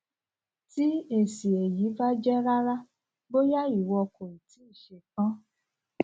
tí èsì èyí bá jẹ rárá bóyá ìwọ kò i tii ṣe tán